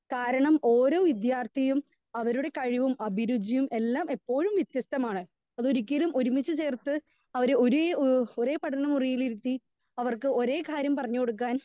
Speaker 2 കാരണം ഓരോ വിദ്യാർത്ഥിയും അവരുടെ കഴിവും അഭിരുചിയും എല്ലാം എപ്പോഴും വിത്യസ്‍തമാണ്. പിന്നെ ഒരിക്കലും ഒരുമിച്ച് ചേർത്ത് അവര് ഒരേ എഹ് ഒരേ പഠന മുറിയിലിരുത്തി അവർക്ക് ഒരേ കാര്യം പറഞ്ഞ് കൊടുക്കാൻ.